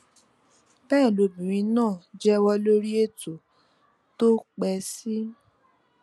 bẹẹ lobìnrin náà jẹwọ lórí ètò tó pẹ sí